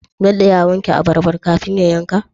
Bello ya wanke abarbar kafin ya yanka?